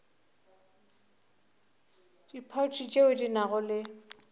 diphathi tšeo di nago le